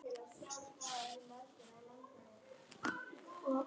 Ég man að ég byrjaði á að raula þetta erindi: